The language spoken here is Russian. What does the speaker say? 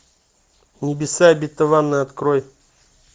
небеса обетованные открой